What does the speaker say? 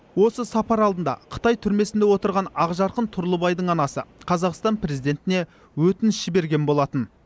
осы сапар алдында қытай түрмесінде отырған ақжарқын тұрлыбайдың анасы қазақстан президентіне өтініш жіберген болатын